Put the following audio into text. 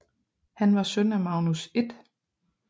Han var søn af Magnus 1